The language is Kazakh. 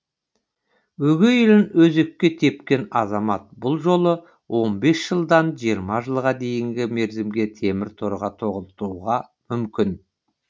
өгей ұлын өзекке тепкен азамат бұл жолы он бес жылдан жиырма жылға дейінгі мерзімге темір торға тоғытытуға мүмкін